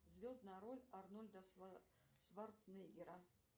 звездная роль арнольда шварценеггера